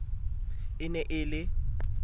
e ne e le e